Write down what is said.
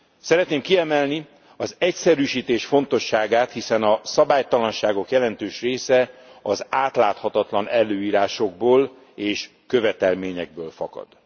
Szeretném kiemelni az egyszerűsítés fontosságát, hiszen a szabálytalanságok jelentős része az átláthatatlan előírásokból és követelményekből fakad.